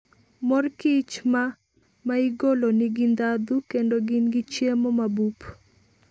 Mor kich ma maigolo nigi ndhadhu kendo gin gi chiemo mabup.